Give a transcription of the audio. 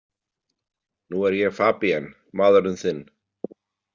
Nú er ég Fabien, maðurinn þinn.